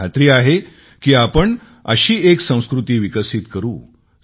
मला खात्री आहे की आपण अशी एक संस्कृती विकसित करू